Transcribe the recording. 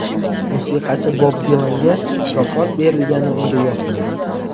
Musiqachi Bob Dilanga mukofot berilgani unga yoqmadi.